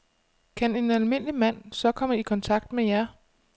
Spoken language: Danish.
Kan en almindelig mand så komme i kontakt med jer?